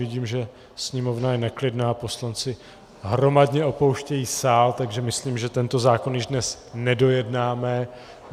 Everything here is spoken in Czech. Vidím, že sněmovna je neklidná, poslanci hromadně opouštějí sál, takže myslím, že tento zákon již dnes nedojednáme.